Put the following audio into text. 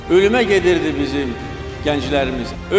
Ölümə gedirdi bizim gənclərimiz.